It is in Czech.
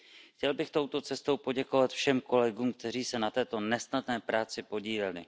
Chtěl bych touto cestou poděkovat všem kolegům, kteří se na této nesnadné práci podíleli.